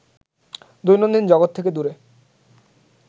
দৈনন্দিন জগৎ থেকে দূরে